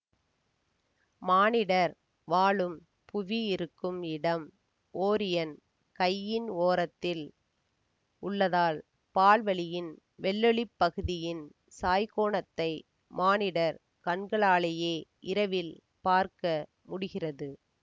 மானிடர் வாழும் புவி இருக்கும் இடம் ஓரியன் கையின் ஓரத்தில் உள்ளதால் பால் வழியின் வெள்ளொளிப் பகுதியின் சாய்கோனத்தை மானிடர் கண்களாலேயே இரவில் பார்க்க முடிகிறது